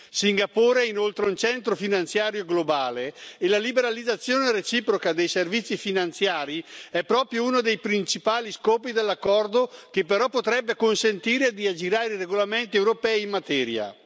Singapore è inoltre un centro finanziario globale e la liberalizzazione reciproca dei servizi finanziari è proprio uno dei principali scopi dell'accordo che però potrebbe consentire di aggirare i regolamenti europei in materia.